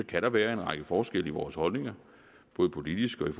kan der være en række forskelle i vores holdninger både politisk og i